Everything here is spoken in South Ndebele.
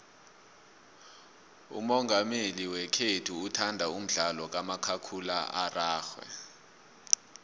umongameli wekhethu uthanda umdlalo kamakhakhulararhwe